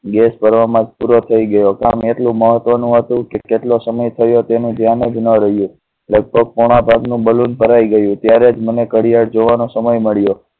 gas ભરવા માં પૂરો થઈ ગયો. કામ એટલું મહત્વનું હતું કેટલો સમય થયો તેને ધ્યા ને રહ્યું. લગભગ પોણા સાત નું બલુન ભરાઈ ગયું ત્યારે જ મળવા નો સમય મળ્યો.